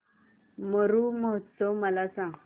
मरु महोत्सव मला सांग